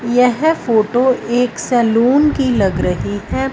यह फोटो एक सैलून की लग रही है।